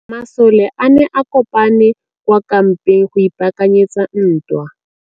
Masole a ne a kopane kwa kampeng go ipaakanyetsa ntwa.